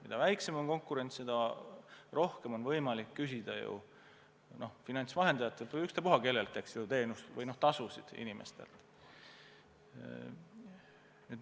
Mida väiksem on konkurents, seda rohkem on võimalik finantsvahendajatel või ükspuha kellel inimestelt teenustasusid küsida.